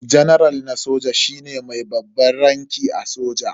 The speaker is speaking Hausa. Janaral na soja shine mai babban ranki a soja.